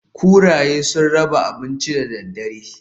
Kuraye sun raba abinci da dare.